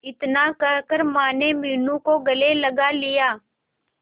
इतना कहकर माने मीनू को गले लगा लिया